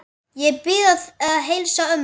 Ég bið að heilsa ömmu.